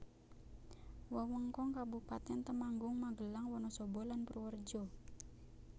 Wewengkon Kabupatèn Temanggung Magelang Wonosobo lan Purworejo